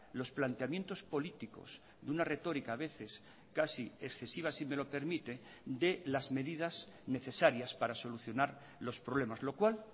los planteamientos políticos de una retórica a veces casi excesiva si me lo permite de las medidas necesarias para solucionar los problemas lo cual